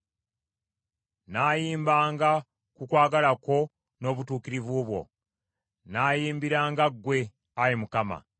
Nnaayimbanga ku kwagala kwo n’obutuukirivu bwo; nnaayimbiranga ggwe, Ayi Mukama .